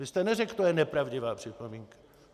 Vy jste neřekl to je nepravdivá připomínka.